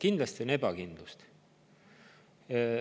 Kindlasti on ebakindlust!